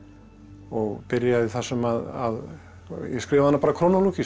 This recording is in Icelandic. og byrjaði þar sem að ég skrifaði hana bara